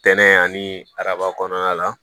Tɛnɛ ani araba kɔnɔna la